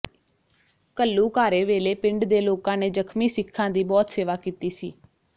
ਘੱਲੂਘਾਰੇ ਵੇਲੇ ਪਿੰਡ ਦੇ ਲੋਕਾਂ ਨੇ ਜ਼ਖ਼ਮੀ ਸਿੱਖਾਂ ਦੀ ਬਹੁਤ ਸੇਵਾ ਕੀਤੀ ਸੀ